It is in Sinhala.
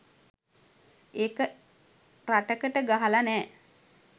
එක රටකට ගහල නෑ